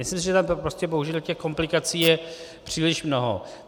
Myslím si, že tam prostě bohužel těch komplikací je příliš mnoho.